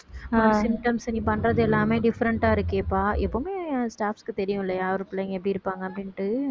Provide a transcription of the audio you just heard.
அஹ் symptoms நீ பண்றது எல்லாமே different ஆ இருக்கேப்பா எப்பவுமே staffs க்கு தெரியும் இல்லையா யாரு பிள்ளைங்க எப்படி இருப்பாங்க அப்படினுட்டு